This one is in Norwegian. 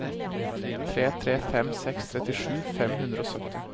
tre tre fem seks trettisju fem hundre og sytti